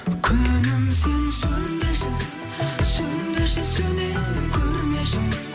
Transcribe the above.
күнім сен сөнбеші сөнбеші сөне көрмеші